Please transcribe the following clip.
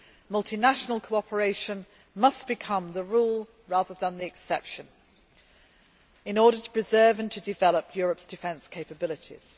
Multinational cooperation must become the rule rather than the exception in order to preserve and develop Europe's defence capabilities.